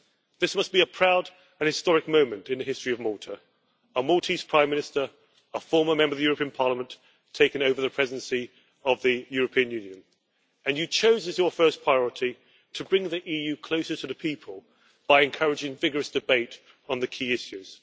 This must be a proud and historic moment in the history of Malta a Maltese Prime Minister, a former Member of European Parliament, taking over the Presidency of the European Union, and you chose as your first priority to bring the EU closer to the people by encouraging vigorous debate on the key issues.